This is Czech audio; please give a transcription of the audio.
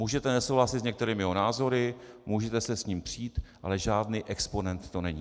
Můžete nesouhlasit s některými jeho názory, můžete se s ním přít, ale žádný exponent to není.